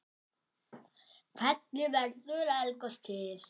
Hvernig verður eldgos til?